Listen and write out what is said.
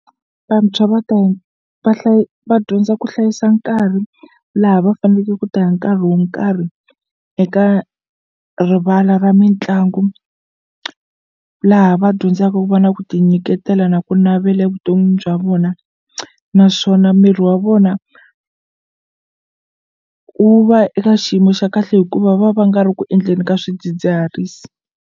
Vantshwa va ta va va dyondza ku hlayisa nkarhi laha va fanele ku ta ya nkarhi wo nkarhi eka rivala ra mitlangu laha va dyondzaka ku va na ku tinyiketela na ku navela evuton'wini bya vona naswona miri wa vona wu va eka xiyimo xa kahle hikuva va va nga ri ku endleni ka swidzidziharisi.